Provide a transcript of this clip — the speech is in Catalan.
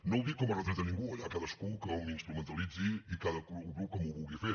no ho dic com a retret a ningú allà cadascú com ho instrumentalitzi i cada grup com ho vulgui fer